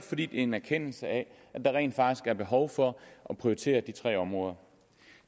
en erkendelse af at der rent faktisk er behov for at prioritere de tre områder